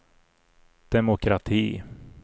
demokrati